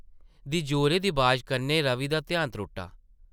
दी जोरे दी बाजा कन्नै रवि दा ध्यान त्रुट्टा ।